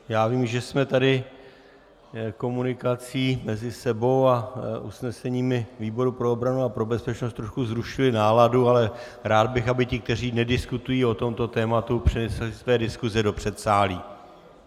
Já vím, že jsme tady komunikací mezi sebou a usneseními výboru pro obranu a pro bezpečnost trochu zrušili náladu, ale rád bych, aby ti, kteří nediskutují o tomto tématu, přenesli své diskuse do předsálí.